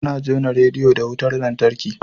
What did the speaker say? Ana jona rediyo da wutar lantarki.